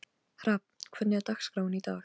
Hrafn, hvernig er dagskráin í dag?